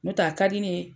N'o tɛ a ka di ne ye